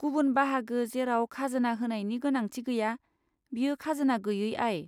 गुबुन बाहागो जेराव खाजोना होनायनि गोनांथि गैया बेयो खाजोना गैयै आय।